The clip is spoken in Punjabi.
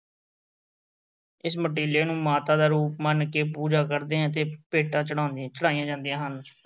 ਇਸ ਮਟੀਲੇ ਨੂੰ ਮਾਤਾ ਦਾ ਰੂਪ ਮੰਨ ਕੇ ਪੂਜਾ ਕਰਦੇ ਅਤੇ ਭੇਟਾ ਚੜ੍ਹਾਉਂਦੇ, ਚੜ੍ਹਾਈਆਂ ਜਾਂਦੀਆਂ ਹਨ।